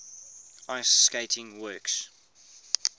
ice skating works